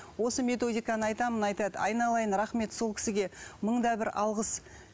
осы методиканы айтамын айтады айналайын рахмет сол кісіге мың да бір алғыс